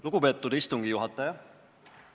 Lugupeetud istungi juhataja!